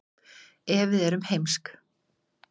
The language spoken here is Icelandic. ef við erum heimsk